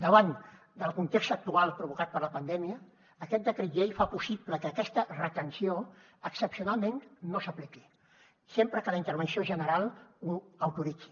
davant del context actual provocat per la pandèmia aquest decret llei fa possible que aquesta retenció excepcionalment no s’apliqui sempre que la intervenció general ho autoritzi